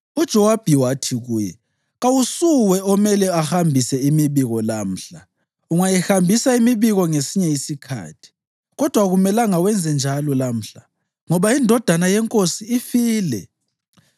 UJowabi wathi kuye, “Kawusuwe omele ahambise imibiko lamhla. Ungayihambisa imibiko ngesinye isikhathi, kodwa akumelanga wenzenjalo lamhla, ngoba indodana yenkosi ifile.”